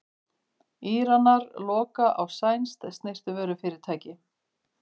Íranar loka á sænskt snyrtivörufyrirtæki